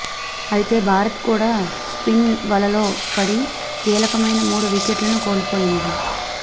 అయితే భారత్ కూడా స్పిన్ వలలో పడి కీలకమైన మూడు వికెట్లను కోల్పోయింది